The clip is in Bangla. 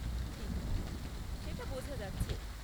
ঠিক! সেটা বোঝা যাচ্ছে।